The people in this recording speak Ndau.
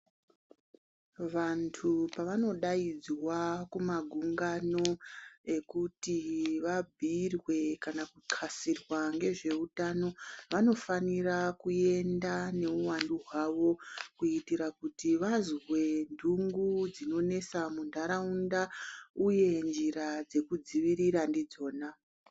Vantu pavanodaidzwa kumagungano ekuti vabhuyirwe kana kuxasirwa ngezveutano vanofanira kuenda nehuwandu hwavo kuitira kuti vazozwe ntungu dzinonesa muntaraunda uye njira dzekudzivirira ndidzona.